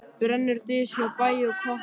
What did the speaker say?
Brennur dys hjá bæ og koti.